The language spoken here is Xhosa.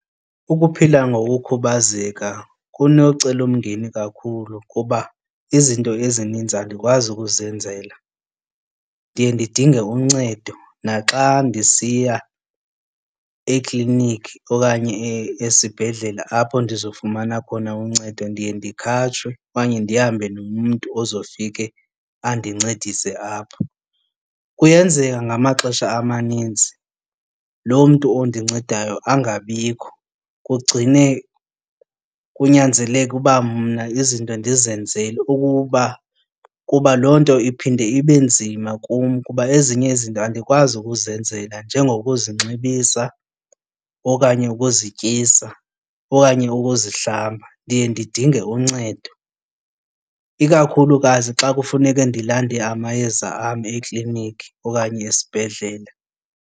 Ukuphila ngokukhubazeka kunokumcelimngeni kakhulu kuba izinto ezininzi andikwazi ukuzenzela. Ndiye ndidinge uncedo naxa ndisiya ekliniki okanye esibhedlele apho ndizofumana khona uncedo ndiye ndikhatshwe okanye ndihambe nomntu ozofike andincedise apho. Kuyenzeka ngamaxesha amaninzi loo mntu ondincedileyo angabikho kugcine kunyanzeleka uba mna izinto ndizenzele ukuba, kuba loo nto iphinde ibe nzima kum kuba ezinye izinto andikwazi ukuzenzela njengokuzinxibisa okanye ukuzityisa okanye ukuzihlamba, ndiye ndidinge uncedo ikakhulukazi xa kufuneke ndilande amayeza am ekliniki okanye esibhedlele.